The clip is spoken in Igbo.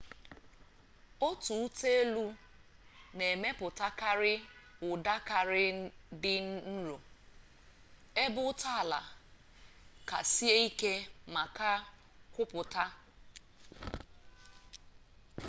otu ụta-elu na emepụtakarị ụda kara dị nro ebe ụta-ala ka sie ike ma kara kwupụta